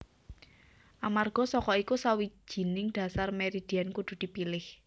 Amarga saka iku sawijining dhasar meridian kudu dipilih